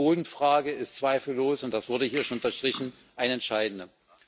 Die Bodenfrage ist zweifellos und das wurde hier schon unterstrichen eine entscheidende.